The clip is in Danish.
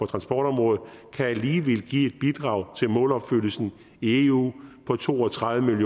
transportområdet kan alligevel give et bidrag til målopfyldelsen i eu på to og tredive